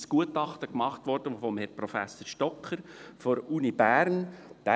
Ein Gutachten wurde von Herrn Professor Stocker von der Universität Bern erstellt.